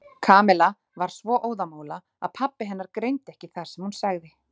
Kamilla var svo óðamála að pabbi hennar greindi ekki það sem hún sagði.